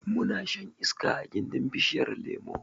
Muna shan iska a gindin bishiyar lemo